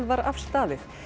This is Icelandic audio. var afstaðið